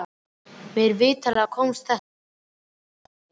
Mér vitanlega komst þetta aldrei í hámæli.